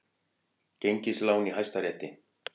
Gengislán í Hæstarétti